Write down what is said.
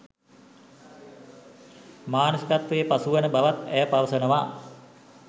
මානසිකත්වයේ පසු වන බවත් ඇය පවසනවා